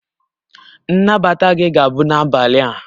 Nnabata gị ga-abụ n'abalị a